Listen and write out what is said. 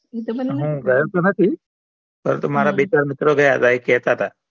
હમ હું ગયો થો નથી પણ અમારા બે ચાર મિત્રો ગયા હતા એ કેહતા હતા